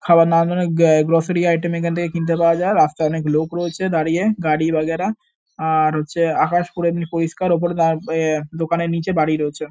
খাবার দাবান অনেক গে গ্রসারি আইটেম এখান থেকে কিনতে পাওয়া যায়। রাস্তায় অনেক লোক রয়েছে দাঁড়িয়ে গাড়ি বগেরা। আর হচ্ছে আকাশ পুরো এমনি পরিস্কার ওপরে দাঁ এ দোকানের নিচে বাড়ি রয়েছে।